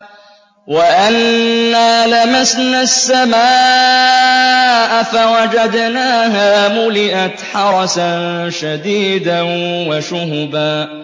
وَأَنَّا لَمَسْنَا السَّمَاءَ فَوَجَدْنَاهَا مُلِئَتْ حَرَسًا شَدِيدًا وَشُهُبًا